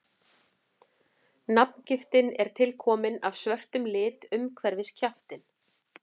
nafngiftin er tilkomin af svörtum lit umhverfis kjaftinn